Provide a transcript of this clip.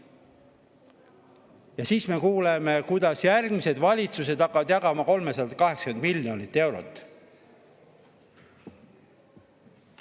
Ja siis me kuuleme, kuidas järgmised valitsused hakkavad jagama 380 miljonit eurot.